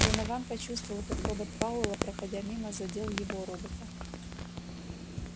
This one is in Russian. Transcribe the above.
донован почувствовал как робот пауэлла проходя мимо задел его робота